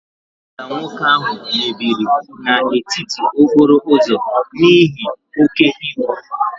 Ụgbọ ala nwoke ahụ mebiri n'etiti okporo ụzọ n'ihi oke ibu